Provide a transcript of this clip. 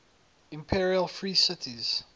imperial free cities